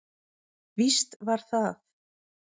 Víst var það.